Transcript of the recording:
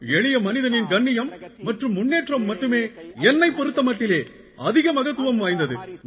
எளிய மனிதனின் கண்ணியம் மற்றும் முன்னேற்றம் மட்டுமே என்னைப் பொறுத்த மட்டிலே அதிக மகத்துவம் வாய்ந்தது